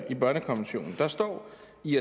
i